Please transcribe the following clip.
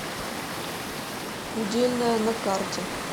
удельная на карте